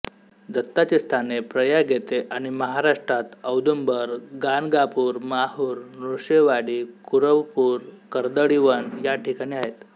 दत्ताची स्थाने प्रयाग येथे आणि महाराष्ट्रात औदुंबर गाणगापूर माहूर नृसिंहवाडी कुरवपूर कर्दळीवन या ठिकाणी आहेत